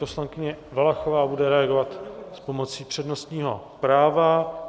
Poslankyně Valachová bude reagovat s pomocí přednostního práva.